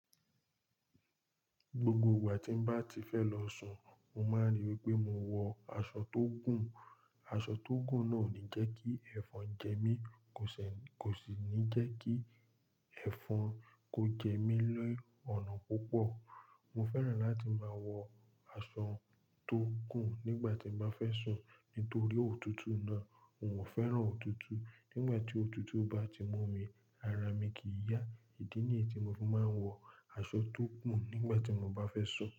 Gbogbo ìgbà tí n bá ti fẹ́ lọ sùn, mo máa ríi wí pé mo wọ aṣọ tó gùn. Aṣọ tó gùn náà ò ní jẹ́kí ẹ́fọn jẹ mí, kò sì ní jẹ́kí ẹ́fọn kó jẹ mí lé ọ̀nà púpọ̀. Mo fẹ́ràn láti máa wọ aṣọ tó gùn nígbà tí n bá fẹ́ sùn nítorí òtútù náà. N ò fẹ́ràn òtútù. Nígbà tí òtútù bá ti mú mi, ara mi kì í yá. Ìdí ni èyí tí mo fi máa ń wọ aṣọ tó gùn nígbà tí n bá fẹ́ sùn.